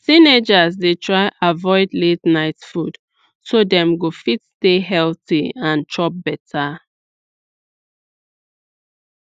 teenagers dey try avoid la ten ight food so dem go fit stay healthy and chop better